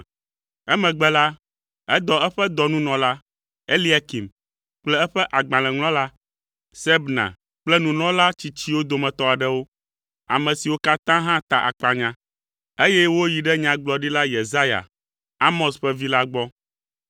Emegbe la, edɔ eƒe dɔnunɔla, Eliakim kple eƒe agbalẽŋlɔla Sebna kple nunɔla tsitsiwo dometɔ aɖewo, ame siwo katã hã ta akpanya, eye woyi ɖe Nyagblɔɖila Yesaya, Amoz ƒe vi la gbɔ.